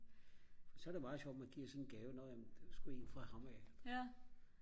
så er det meget sjovt at man giver sådan en gave nå ja men det var sgu en fra ham af